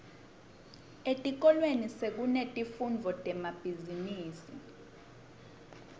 etikolweni sekunetifundvo temabhizimisi